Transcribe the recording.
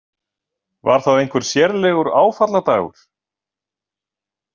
Var það einhver sérlegur áfalladagur?